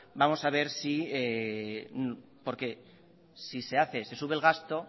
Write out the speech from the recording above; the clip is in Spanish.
porque si se hace se sube el gasto